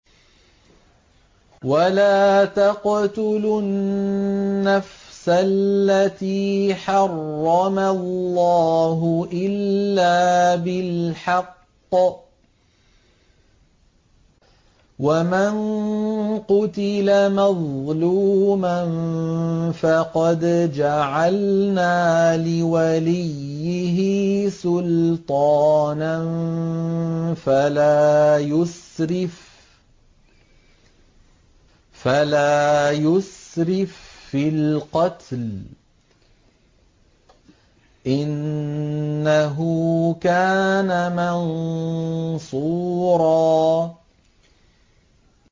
وَلَا تَقْتُلُوا النَّفْسَ الَّتِي حَرَّمَ اللَّهُ إِلَّا بِالْحَقِّ ۗ وَمَن قُتِلَ مَظْلُومًا فَقَدْ جَعَلْنَا لِوَلِيِّهِ سُلْطَانًا فَلَا يُسْرِف فِّي الْقَتْلِ ۖ إِنَّهُ كَانَ مَنصُورًا